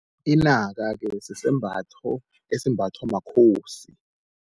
Inaka-ke sisembatho esimbathwa makhosi.